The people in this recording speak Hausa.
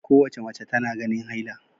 Kowace mace tana ganin haila